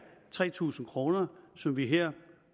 tre tusind kr som vi her